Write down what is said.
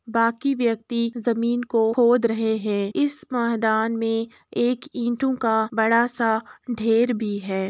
बाकी व्यक्ति जमीन को खोद रहे हैं। इस महदान में एक ईटों का बड़ा सा ढेर भी है।